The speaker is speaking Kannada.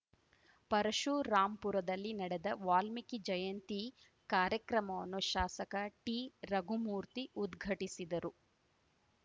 ಪರಶುರಾಂಪುರದಲ್ಲಿ ನಡೆದ ವಾಲ್ಮೀಕಿ ಜಯಂತಿ ಕಾರ್ಯಕ್ರಮವನ್ನು ಶಾಸಕ ಟಿ ರಘುಮೂರ್ತಿ ಉದ್ಘಟಿಸಿದರು